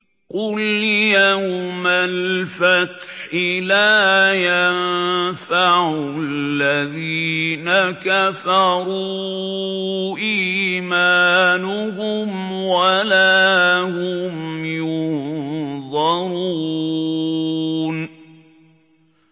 قُلْ يَوْمَ الْفَتْحِ لَا يَنفَعُ الَّذِينَ كَفَرُوا إِيمَانُهُمْ وَلَا هُمْ يُنظَرُونَ